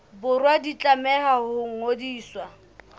borwa di tlameha ho ngodiswa